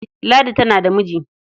Ladi tana da miji.